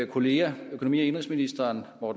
kolleger økonomi og indenrigsministeren og